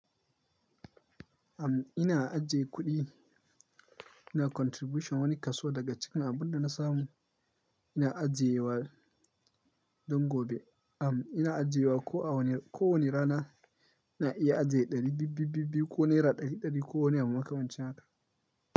Am, ina ajiye kuɗi, ina contribution wani kaso daga cikin abin da na samu. Ina ajiye wa don gobe. Am, ina ajiye wa ko a wani, ko wani rana ina iya ajiye ɗari biyu biyu biyu biyu ko naira ɗari ɗari ko wani abu makamancin haka.